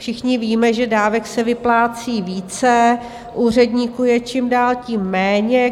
Všichni víme, že dávek se vyplácí více, úředníků je čím dál tím méně.